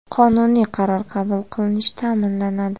qonuniy qaror qabul qilinish ta’minlanadi.